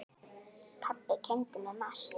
Pabbi kenndi mér margt.